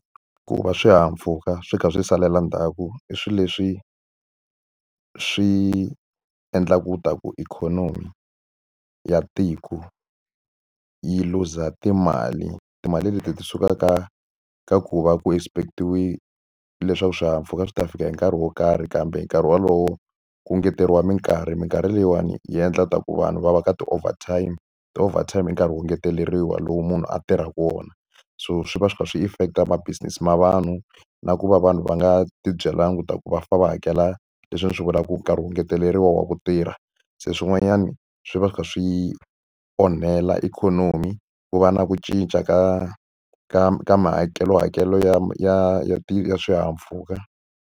Ku va swihahampfuka swi kha swi salela ndzhaku, i swilo leswi swi endlaka ikhonomi ya tiko yi luza timali. Timali leti ti sukaka ka ku va ku expext-iwile leswaku swihahampfuka swi ta fika hi nkarhi wo karhi kambe hi nkarhi wolowo ku engeteriwa minkarhi. Minkarhi leyiwani yi endla leswaku vanhu va va ka ti-over time. Ti-overtime nkarhi wo engeteleriwa lowu munhu a tirhaka wona, so swi va swi kha swi affect-a ma business ma vanhu. Na ku va vanhu va nga ti byelangi leswaku va fanele va hakela leswi ni swi vulaka ku nkarhi wu ngeteleriwa wa ku tirha. Se swin'wanyani swi va swi kha swi onhela ikhonomi, ku va na ku cinca ka ka ka mihakelohakelo ya ya ya ya swihahampfhuka.